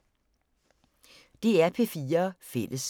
DR P4 Fælles